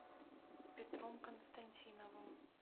петром константиновым